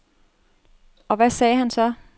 Og hvad sagde han så?